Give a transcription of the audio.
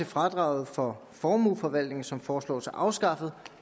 fradraget for formueforvaltning som foreslås afskaffet